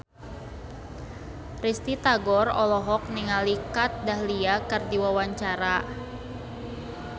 Risty Tagor olohok ningali Kat Dahlia keur diwawancara